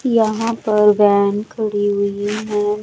यहां पर वैन खड़ी हुई है।